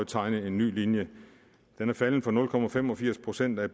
tegne en ny linje den er faldet fra nul procent af